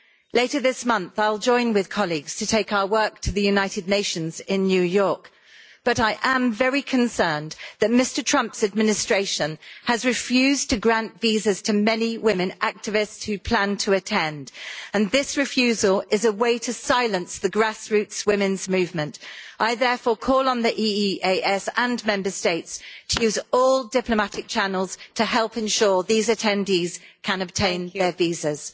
Later this month, I'll join with colleagues to take our work to the United Nations in New York, but I am very concerned that Mr Trump's administration has refused to grant visas to many women activists who planned to attend, and that this refusal is a way to silence the grassroots women's movement. I therefore call on the EEAS and the Member States to use all diplomatic channels to help ensure that these attendees can obtain their visas.